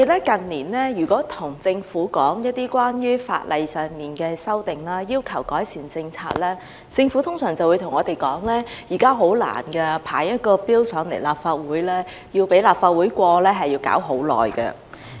近年來，如果我們對政府提出關於法例的修訂，要求改善施政，政府通常會對我們說提交法案並獲立法會通過法案十分困難，亦需時很長。